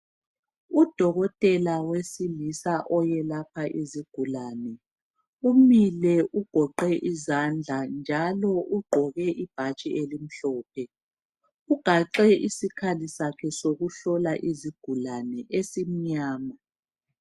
Udokotela wesilisa oyelapha izigulane umile ugoqe izandla njalo ugqoke ibhatshi elimhlophe. Ugaxe isikhali sakhe sokuhlola izigulane esimnyama.